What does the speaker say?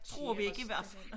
Tror vi ikke i hvert fald